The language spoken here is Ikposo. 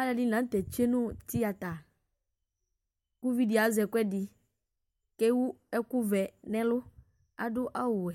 Aluɛdini la nu tɛ atsue nu teata ku uvidi azɛ ɛkuɛdi ku ewu ɛku vɛ nu ɛlu ɔwɛ